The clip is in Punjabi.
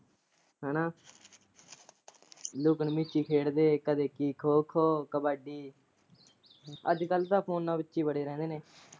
ਹਨਾਂ ਲੁਕਣ ਮੀਚੀ ਖੇਡਦੇ ਹੀ ਕਦੇ ਖੋ ਖੋ ਕਬੱਡੀ। ਅੱਜ ਕੱਲ ਤਾਂ ਫੋਨਾਂ ਵਿੱਚ ਹੀ ਵੜੇ ਰਹਿੰਦੇ ਨੇ।